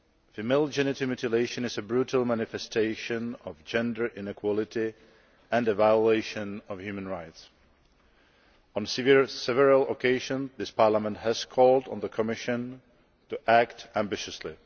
Female genital mutilation is a brutal manifestation of gender inequality and a violation of human rights. On several occasions, this Parliament has called on the Commission to act ambitiously.